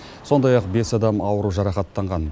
сондай ақ бес адам ауыру жарақаттанған